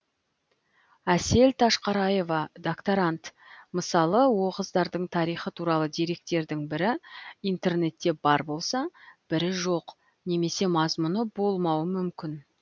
әсел ташқараева докторант мысалы оғыздардың тарихы туралы деректердің бірі интернетте бар болса бірі жоқ немесе мазмұны болмауы мүмкін